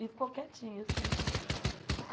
E ficou quietinha, assim.